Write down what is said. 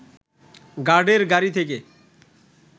গার্ডের গাড়ি থেকে